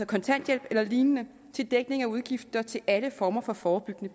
kontanthjælp eller lignende til dækning af udgifter til alle former for forebyggende